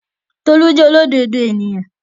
Tolú jẹ́ olódodo èèyàn